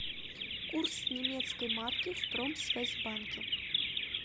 курс немецкой марки в промсвязьбанке